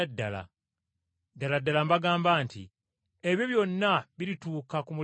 Ddala ddala mbagamba nti ebyo byonna birituuka ku mulembe guno.